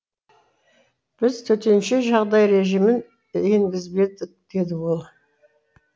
біз төтенше жағдай режимін енгізбедік деді ол